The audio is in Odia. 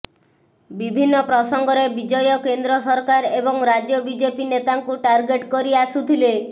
ବିଭିନ୍ନ ପ୍ରସଙ୍ଗରେ ବିଜୟ କେନ୍ଦ୍ର ସରକାର ଏବଂ ରାଜ୍ୟ ବିଜେପି ନେତାଙ୍କୁ ଟାର୍ଗେଟ କରି ଆସୁଥିଲେ